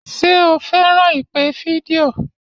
Ṣé o fẹ́ràn ìpè fídíò?